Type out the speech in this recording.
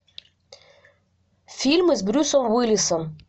фильмы с брюсом уиллисом